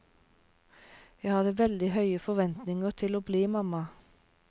Jeg hadde veldig høye forventninger til å bli mamma.